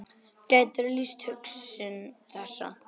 Gætirðu lýst hugsun þessa?